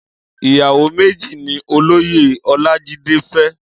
Iyàwó méji ni Ólóyé Olajide fè